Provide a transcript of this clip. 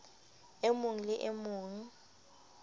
e mong le e mong